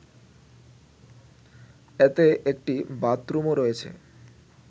এতে একটি বাথরুমও রয়েছে